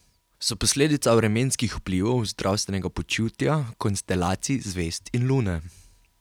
So posledica vremenskih vplivov, zdravstvenega počutja, konstelacij zvezd in lune?